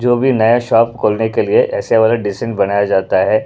जो भी नया शॉप खोलने के लिए ऐसे वाला डेसिन बनाया जाता है।